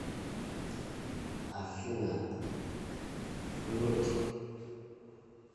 афина флют